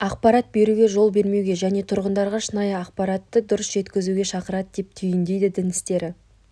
ақпарат беруге жол бермеуге және тұрғындарға шынайы ақпаратты дұрыс жеткізуге шақырады деп түйіндейді дін істері